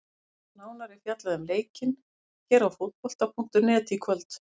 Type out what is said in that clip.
Nánar er fjallað um leikinn hér á Fótbolta.net í kvöld.